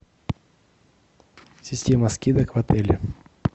система скидок в отеле